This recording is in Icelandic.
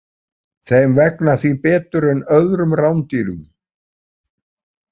Þeim vegnar því betur en öðrum rándýrum.